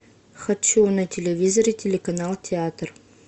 хочу на телевизоре телеканал театр